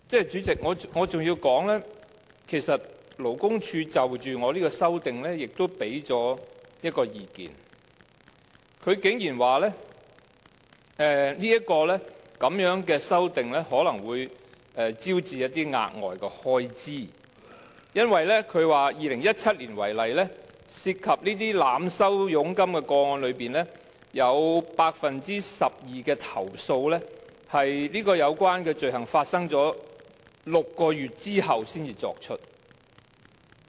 主席，我想再指出，其實勞工處就着我提出的修正案也提供了一項意見，便是它竟然說我的修正案可能會招致額外開支，因為以2017年為例，在涉及濫收佣金的個案當中，有 12% 的投訴是在有關罪行發生6個月後才提出。